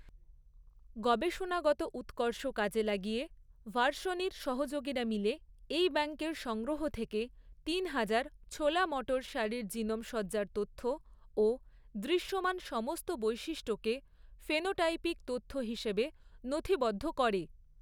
গবেষণাগত উৎকর্ষ কাজে লাগিয়ে ভার্শনির সহযোগীরা মিলে এই ব্যাঙ্কের সংগ্রহ থেকে তিনহাজার ছোলা মটর সারির জিনোম সজ্জার তথ্য ও দৃশ্যমান সমস্ত বৈশিষ্ট্যকে ফেনোটাইপিক তথ্য হিসেবে নথিবদ্ধ করে।